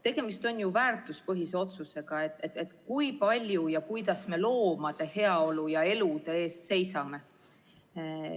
Tegemist on väärtuspõhise otsusega, kui palju ja kuidas me loomade heaolu ja elude eest seisame.